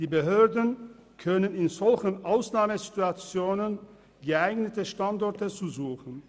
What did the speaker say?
Die Behörden können in solchen Ausnahmesituationen geeignete Standorte suchen.